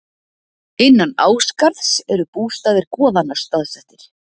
Innan Ásgarðs eru bústaðir goðanna staðsettir.